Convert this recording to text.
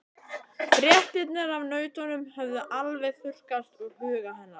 Fréttirnar af nautunum höfðu alveg þurrkast úr huga hennar.